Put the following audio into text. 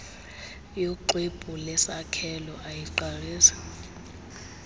yoxwebhu lesakhelo ayiqalisi